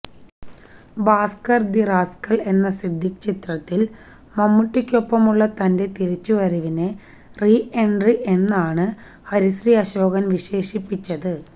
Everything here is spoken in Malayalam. ഭാസ്കര് ദ റാസ്ക്കല് എന്ന സിദ്ദിഖ് ചിത്രത്തില് മമ്മൂട്ടിയ്ക്കൊപ്പമുള്ള തന്റെ തിരിച്ചുവരവിനെ റി എന്ട്രി എന്നാണ് ഹരിശ്രീ അശോകന് വിശേഷിപ്പിച്ചത്